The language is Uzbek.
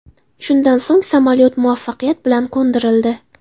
Shundan so‘ng samolyot muvaffaqiyat bilan qo‘ndirildi.